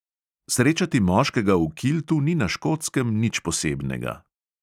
Srečati moškega v kiltu ni na škotskem nič posebnega.